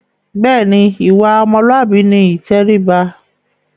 Bẹ́ẹ̀ ni, ìwà ọmọlúàbí ni ìtẹríba.